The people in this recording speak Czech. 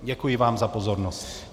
Děkuji vám za pozornost.